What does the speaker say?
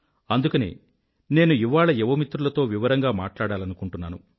అందుకనే నేను ఇవాళ యువమిత్రులతో వివరంగా మాట్లాడాలనుకుంటున్నాను